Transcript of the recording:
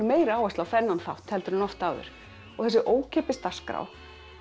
meiri áherslu á þennan þátt heldur en oft áður þessi ókeypis dagskrá